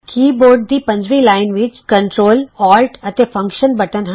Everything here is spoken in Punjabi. ਕੀ ਬੋਰਡ ਦੀ ਪੰਜਵੀਂ ਲਾਈਨ ਵਿੱਚ ਕੰਟਰੌਲਔਲਟ ਅਤੇ ਫੰਕਸ਼ਨ ਬਟਨ ਹਨ